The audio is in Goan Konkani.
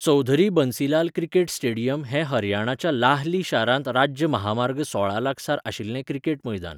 चौधरी बन्सीलाल क्रिकेट स्टेडियम हें हरियाणाच्या लाहली शारांत राज्य महामार्ग सोळा लागसार आशिल्लें क्रिकेट मैदान.